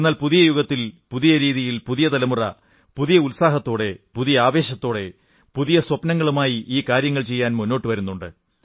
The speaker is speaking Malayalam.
എന്നാൽ പുതിയ യുഗത്തിൽ പുതിയ രീതിയിൽ പുതിയ തലമുറ പുതിയ ഉത്സാഹത്തോടെ പുതിയ ആവേശത്തോടെ പുതിയ സ്വപ്നങ്ങളുമായി ഈ കാര്യങ്ങൾ ചെയ്യാൻ ഇന്ന് മുന്നോട്ടു വരുന്നുണ്ട്